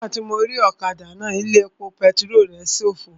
Nígbàtí mo rí ọ̀kadà náà, ilé epo pẹtirólù rẹ̀ ṣófo